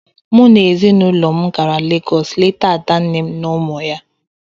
Mụ na ezinụlọ m gara Legọs leta ada nne m na ụmụ ya.